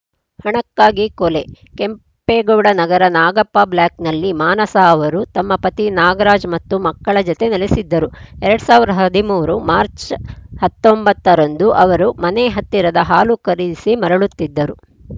ಹಣಕ್ಕಾಗಿ ಕೊಲೆ ಕೆಂಪೇಗೌಡ ನಗರ ನಾಗಪ್ಪ ಬ್ಲಾಕ್‌ನಲ್ಲಿ ಮಾನಸ ಅವರು ತಮ್ಮ ಪತಿ ನಾಗರಾಜ್‌ ಮತ್ತು ಮಕ್ಕಳ ಜತೆ ನೆಲೆಸಿದ್ದರು ಎರಡ್ ಸಾವಿರದ ಹದಿಮೂರು ಮಾರ್ಚ್ ಹತ್ತೊಂಬತ್ತ ರಂದು ಅವರು ಮನೆ ಹತ್ತಿರದ ಹಾಲು ಖರೀದಿಸಿ ಮರಳುತ್ತಿದ್ದರು